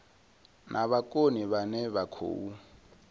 na vhukoni vhane vha khou